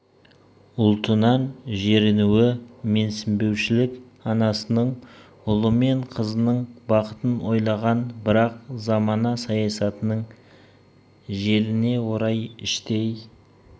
ұлтынан жерінуі менсінбеушілік анасының ұлы мен қызының бақытын ойлаған бірақ замана саясатының желіне орай іштей